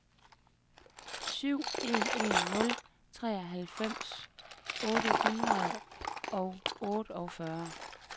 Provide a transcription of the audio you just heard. syv en en nul treoghalvfems otte hundrede og otteogfyrre